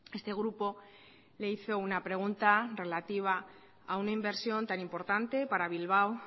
este grupo le hizo una pregunta relativa a una inversión tan importante para bilbao